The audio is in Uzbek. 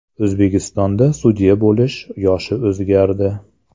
O‘zbekistonda sudya bo‘lish yoshi o‘zgardi.